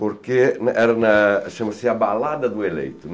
Porque era na... chama-se a balada do eleito.